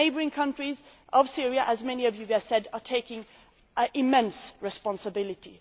The neighbouring countries of Syria, as many of you have said, are taking immense responsibility